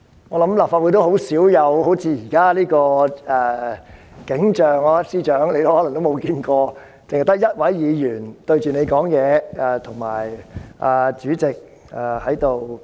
我想立法會很少出現好像現在般的景象，可能司長也沒有見過，只有一位議員對他發言，以及主席在主持會議。